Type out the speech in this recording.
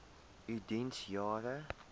u diens jare